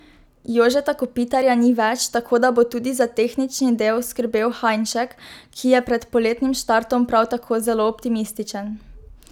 Jožeta Kopitarja ni več, tako da bo tudi za tehnični del skrbel Hajnšek, ki je pred poletnim štartom prav tako zelo optimističen.